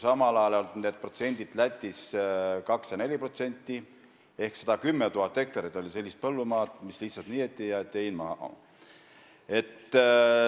Samal ajal Lätis olid need protsendid vastavalt 2% ja 4%, ehk 110 000 hektarit oli sellist põllumaad, mis lihtsalt niideti ära ja hein jäeti maha.